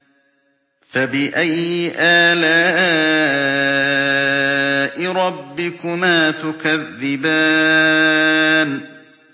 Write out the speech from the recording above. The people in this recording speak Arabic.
فَبِأَيِّ آلَاءِ رَبِّكُمَا تُكَذِّبَانِ